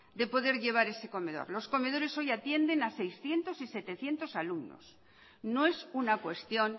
de poder llevar ese comedor los comedores hoy atienden a seiscientos y setecientos alumnos no es una cuestión